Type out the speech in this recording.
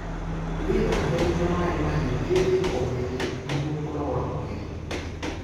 Withambe na maĩ mahiu hĩndĩ o hĩndĩ nĩguo kũnogora mwĩrĩ